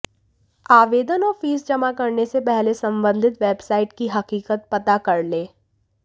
आवेदन और फीस जमा करने से पहले संबंधित वेबसाइट की हकीकत पता कर लें